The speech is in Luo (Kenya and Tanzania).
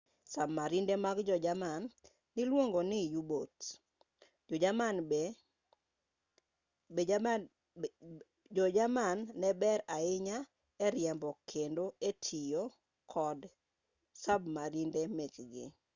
sabmarinde mag jo-jerman niluongo ni u-boats jo-jerman ne ber ahinya e riembo kendo e tiyo kod sabmarinde mekgi